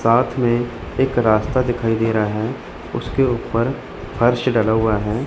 साथ में एक रास्ता दिखाई दे रहा है उसके ऊपर फर्श डला हुआ है।